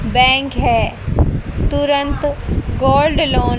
bank है तुरंत gold loan --